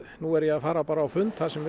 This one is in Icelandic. nú er ég að fara á fund þar sem